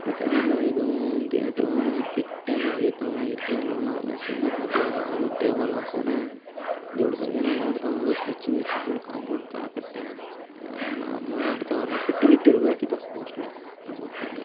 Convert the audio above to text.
ಇದು ಯಾವುದಲ ಇದು ಗೇಟ್ ಪಿಟ್ಟು ಏನೋ ಅಗಿತ ಇದ್ದರೆ ಇಟ್ಟಿಕೆಗಳನ್ನ ಟೇಬಲ್ ಹಾಕ್ವನೇ ದೊಡ್ಡದಾಗಿ ಏನೋ ಮಾಡ್ತಾ ಅವರೇ ಸ್ಕೆಚ್ ಗಿಚ್ ಫುಲ್ ಕಾಂಪೌಂಡ್ ತಾರಾ ಕಟ್ಟಿ ಅಯ್ಯೋ ಎನ್ ಮಾಡ್ತಾ ಅವರೊ ಪಿಟ್ಟು ಗಿಟ್ಟು ಇರಬೇಕು ಇದು ಮೊಸ್ತ್ಲಿ ನಂಗೆ ಗೋತ್ ಅಂಗೆ.